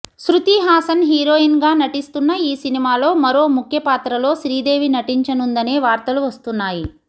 శృతిహాసన్ హీరోయిన్గా నటిస్తున్న ఈ సినిమాలో మరో ముఖ్య పాత్రలో శ్రీదేవి నటించనుందనే వార్తలు వస్తున్నాయి